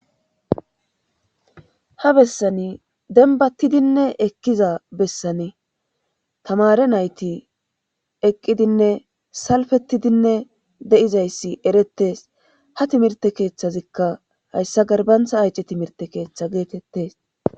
Ha bessane denbattidinne ekkiza bessane tamare nayti eqqidinne salfettidinne de7izayssi erettes ha timirte keeththazikka hayssa garbantha ayci timirte keeththa geetettes.